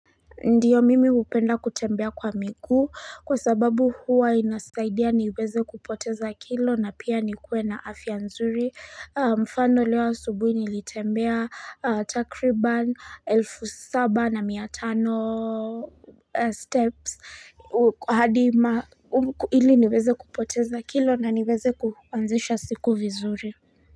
Ndio mimi upenda kutembea kwa miguu kwa sababu huwa inasaidia niweze kupoteza kilo na pia nikuwe na afya nzuri mfano leo asubuhi nilitembea takriba elfu saba na miatano steps hadi hili niweze kupoteza kilo na niweze kuanzisha siku vizuri.